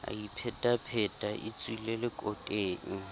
a iphetapheta e tswile lekoteng